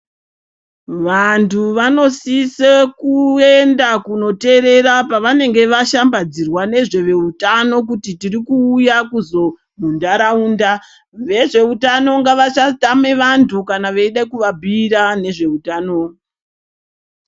Vantu vanosise kuenda kunoteerera pevanenge vashambadzirwa nezveveutano kuti tirikuuya kuzo muntaraunda. Vezveutano ngavasatame vantu kana veida kuvabhiira nezveutano.